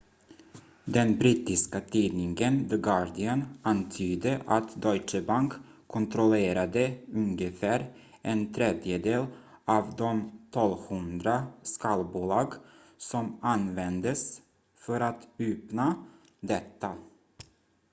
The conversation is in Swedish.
den brittiska tidningen the guardian antydde att deutsche bank kontrollerade ungefär en tredjedel av de 1200 skalbolag som användes för att uppnå detta